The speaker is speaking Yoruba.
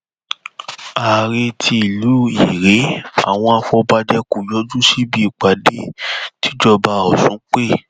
àrèé ti ìlú irèé àwọn afọbajẹ kò yọjú síbi ìpàdé tìjọba ọsùn pé